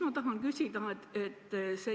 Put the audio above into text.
Ma tahan küsida järgmist.